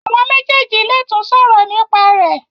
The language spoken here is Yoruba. Awọn méjèjì lè tún sòrò nípa rẹ.